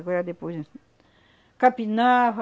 Agora depois... Capinava.